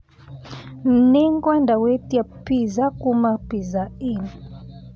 Nĩngwenda gwĩtia pizza kuuma Pizza Inn